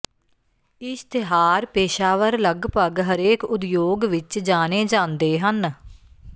ਇਸ਼ਤਿਹਾਰ ਪੇਸ਼ਾਵਰ ਲਗਭਗ ਹਰੇਕ ਉਦਯੋਗ ਵਿਚ ਜਾਣੇ ਜਾਂਦੇ ਹਨ